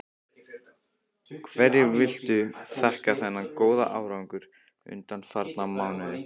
Hverju viltu þakka þennan góða árangur undanfarna mánuði?